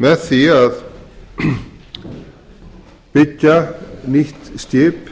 með því að byggja nýtt skip